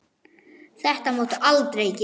Þetta máttu aldrei gera.